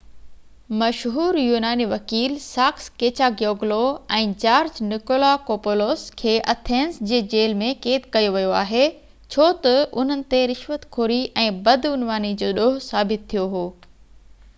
مشهور يوناني وڪيل ساڪس ڪيچاگيوگلو ۽ جارج نڪولاڪوپولوس کي ايٿنز جي جيل ۾ قيد ڪيو ويو آهي ڇو تہ انهن تي رشوت خوري ۽ بدعنواني جو ڏوه ثابت ٿيو هو